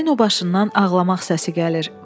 Dəstəyin o başından ağlamaq səsi gəlir.